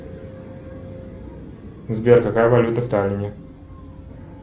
сбер какая валюта в таллине